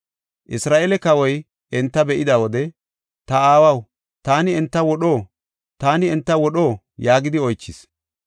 Isra7eele kawoy enta be7ida wode, “Ta aawaw, taani enta wodho? Taani enta wodho?” yaagidi oychis.